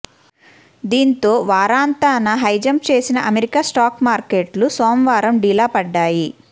దీంతో వారాంతాన హైజంప్ చేసిన అమెరికా స్టాక్ మార్కెట్లు సోమవారం డీలాపడ్డాయి